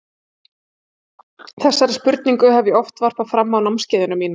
Þessari spurningu hef ég oft varpað fram á námskeiðunum mínum.